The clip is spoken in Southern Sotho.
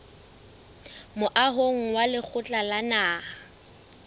moahong wa lekgotla la naha